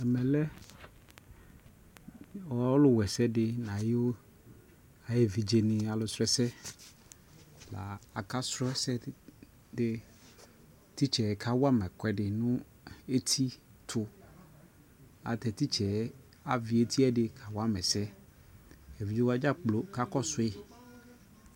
Ɛmɛ lɛ ɔlu wɛ sɛ di na yʋ ayɛ vidze ni alu srɔ ɛsɛ Bua aka srɔ ɛsɛ diTitsɛ ka wa ma ɛsɛ di tu nu ɛti tuAyɛ lu tɛ titsɛ avi ɛti yɛ di ka wa ma ɛsɛEvidze wa dza kplo ka kɔ sui